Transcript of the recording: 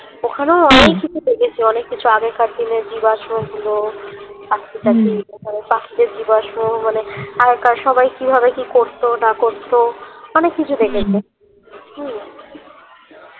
ওখানেও অনেক কিছু দেখেছি অনেককিছু আগেকার দিনের জীবাশ্য গুলো পাখি টাখি পাখিদের জীবস্য মানে হালকা সবাই কিভাবে কি করতো না করতো অনেককিছু দেখেছি হম